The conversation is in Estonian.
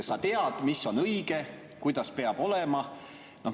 Sa tead, mis on õige, kuidas peab olema.